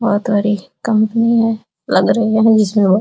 बहुत बड़ी कंपनी है लग रही है जिसमें वो --